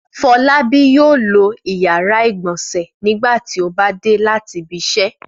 Fọlábí yóò lo ìyàrá-ìgbọ̀nsẹ̀ nígbà tí ó bá dé láti ibiṣẹ́.